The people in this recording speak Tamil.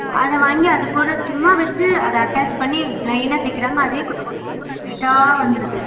அத வந்து அத கூட சும்மா வெச்சு அத attach பண்ணி plain னா தேக்கிறாங்க அதுவே கிட்டி கிட்டி கிட்டி கிட்டி கிட்டி சுவிட்டா வந்துருது